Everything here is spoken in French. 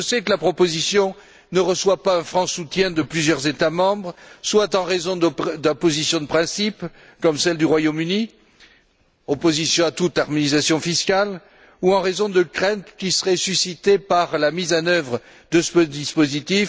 Je sais que la proposition ne reçoit pas un franc soutien de plusieurs États membres, soit en raison d'une opposition de principe, comme celle du Royaume Uni opposition à toute harmonisation fiscale soit en raison de craintes qui seraient suscitées par la mise en œuvre de ce dispositif.